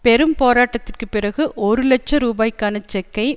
பெரும் போராட்டத்துக்கு பிறகு ஒரு லட்ச ரூபாய்க்கான செக்கை